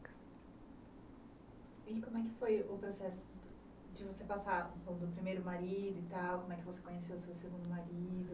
E como é que foi o processo de você passar do primeiro marido e tal, como é que você conheceu o seu segundo marido?